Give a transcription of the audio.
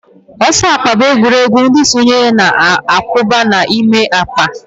Ọsọ akpa bụ egwuregwu ndị sonyere na-awụba n'ime akpa